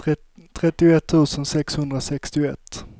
trettioett tusen sexhundrasextioett